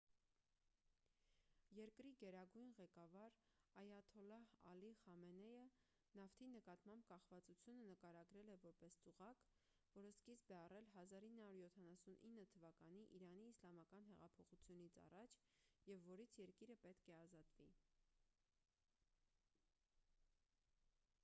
երկրի գերագույն ղեկավար այաթոլլահ ալի խամենեյը նավթի նկատմամբ կախվածությունը նկարագրել է որպես ծուղակ որը սկիզբ է առել 1979 թվականի իրանի իսլամական հեղափոխությունից առաջ և որից երկիրը պետք է ազատվի